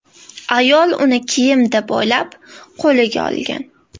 Ayol uni kiyim deb o‘ylab, qo‘liga olgan.